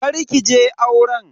Kar ki je auren.